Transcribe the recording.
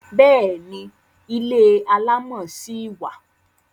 Bẹ́ẹ̀ni, ilé alámọ̀ ṣì wà.